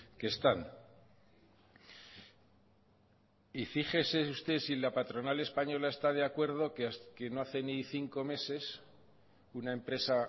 que están y fíjese usted si la patronal española está de acuerdo que no hace ni cinco meses una empresa